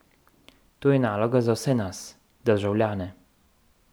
To je naloga za vse nas, državljane.